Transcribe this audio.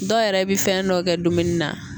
Dɔw yɛrɛ bɛ fɛn dɔ kɛ dumuni na